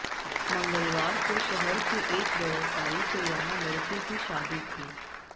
मंगलवार को शहर के एक व्यवसायी के यहां लड़के की शादी थी